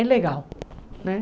É legal, né?